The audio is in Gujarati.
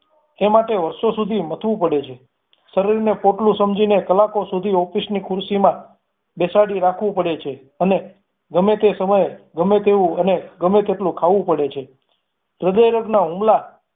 એ માટે વારસો સુધી મથવું પડે છે શરીરને પોટલું સમજીને કલાકો સુધી office ની ખુરશીમાં બેસાડી રાખવું પડે છે અને ગમે તે સમયે ગમે તેવું ગમે તેટલું ખાવું પડે છે હૃદય રોગ ના હુમલા